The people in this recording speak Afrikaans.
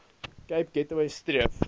cape gateway streef